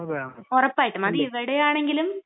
അതെ, ഉറപ്പായിട്ടും.അത് ഇവിടെയാണെങ്കിലും..